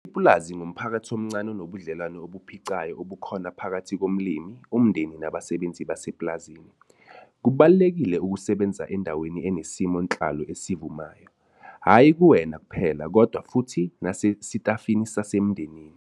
Ipulazi ngumphakathi omncane onobudlelwano ubuphicayo ubukhona phakathi komlimi, umndeni nabasebenzi basepulazini. Kubalulekile ukusebenza endaweni enesimo nhlalo esivumayo, hhayi kuwena kuphela kodwa futhi nasesitafini nasemndenini.